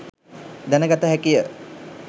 දැන ගත හැකි ය.